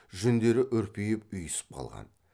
жүндері үрпиіп ұйысып қалған